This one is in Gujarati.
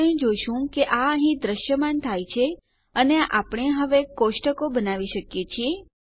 આપણે જોશું કે આ અહીં દ્રશ્યમાન થાય છે અને આપણે હવે કોષ્ટકો બનાવી શકીએ છીએ